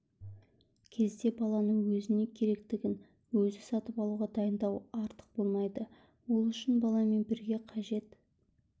кезде баланы өзіне керектігін өзі сатып алуға дайындау артық болмайды ол үшін баламен бірге қажет